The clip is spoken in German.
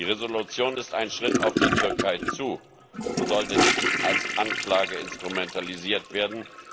Die Entschließung ist ein Schritt auf die Türkei zu und sollte nicht als Anklage instrumentalisiert werden.